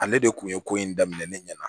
Ale de kun ye ko in daminɛ ne ɲɛna